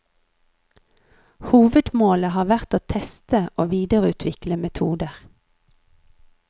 Hovedmålet har vært å teste og videreutvikle metoder.